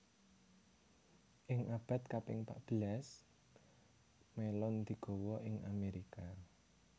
Ing abad kaping patbelas melon digawa ing Amerika